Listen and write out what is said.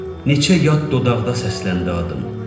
Neçə yad dodaqda səsləndi adım.